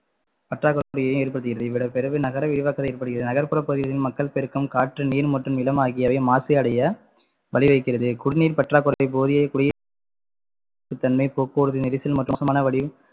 பற்றாக்குறையை ஏற்படுத்துகிறது இவ்விடபெயர்வு நகர விரிவாக்கத்தை ஏற்படுத்துகிறது நகர்ப்புற பகுதிகளில் மக்கள் பெருக்கம், காற்று, நீர் மற்றும் நிலம் ஆகியவை மாசு அடைய வழி வகிக்கிறது குடிநீர் பற்றாக்குறையை போதிய குடி ~ தன்மை போக்குவரத்து நெரிசல் மற்றும் மோசமான வடியும்~